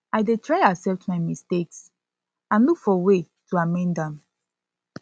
i dey try accept my mistakes and look for way to amend am